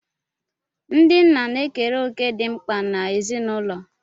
Ndị nna na-ekere òkè dị mkpa n'ezinụlọ